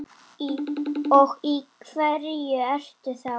Og í hverju ertu þá?